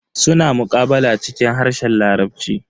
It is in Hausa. Suna muqabala cikin harshen larabci.